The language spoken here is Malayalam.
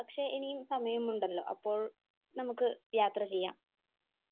പക്ഷെ ഇനിയും സമയമുണ്ടല്ലോ. അപ്പോൾ നമുക്ക് യാത്ര ചെയ്യാം